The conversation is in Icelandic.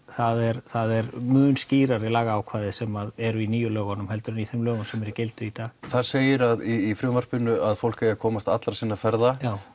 það eru mun skýrari lagaákvæði sem eru í nýju lögunum heldur en í þeim lögum sem eru í gildi í dag það segir í frumvarpinu að fólk eigi að komast allra sinna ferða